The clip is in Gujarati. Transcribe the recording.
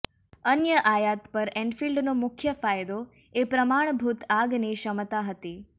અન્ય આયાત પર એન્ફિલ્ડનો મુખ્ય ફાયદો એ પ્રમાણભૂત આગ ની ક્ષમતા હતી